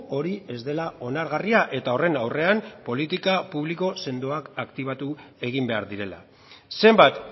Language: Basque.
hori ez dela onargarria eta horren aurrean politika publiko sendoak aktibatu egin behar direla zenbat